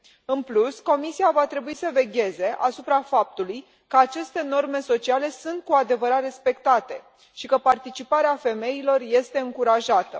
În plus, Comisia va trebui să vegheze asupra faptului că aceste norme sociale sunt cu adevărat respectate și că participarea femeilor este încurajată.